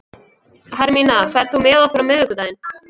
Hermína, ferð þú með okkur á miðvikudaginn?